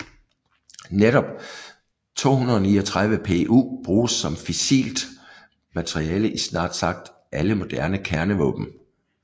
Netop 239Pu bruges som fissilt materiale i snart sagt alle moderne kernevåben